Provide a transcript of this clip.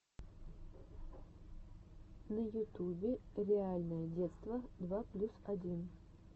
на ютубе реальное детство два плюс один